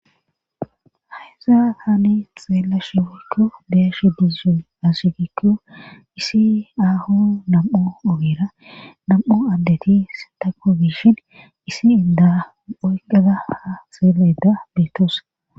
Hesa taani xeela shigikko deeshi disun ashigikko isi aaho nam7o ogera nam7o addeti satako biishin isi inda oyqaza ha xeela ida beetoos.